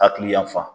Hakili yanfan